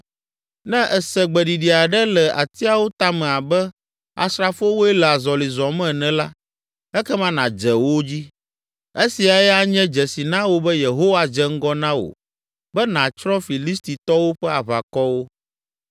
Ne èse gbeɖiɖi aɖe le atiawo tame abe asrafowoe le azɔli zɔm ene la, ekema nàdze wo dzi. Esiae anye dzesi na wò be Yehowa dze ŋgɔ na wò be nàtsrɔ̃ Filistitɔwo ƒe aʋakɔwo.”